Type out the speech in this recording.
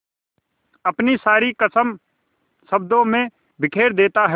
अपनी सारी कसक शब्दों में बिखेर देता है